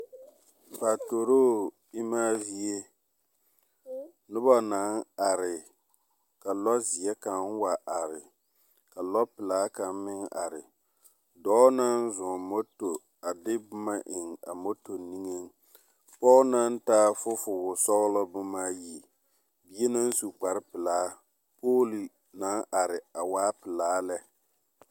Paturoo emaa zie noba naŋ are, ka lɔɔzeɛ kaŋa wa are, ka lɔɔpelaa kaŋa meŋ are. Dɔɔ naŋ zɔɔŋ moto a de boma eŋ a moto niŋeŋ, pɔge naŋ taa fofowosɔglɔ bomaayi, bie naŋ su kparepelaa, pooli naŋ are a waa pelaa lɛ.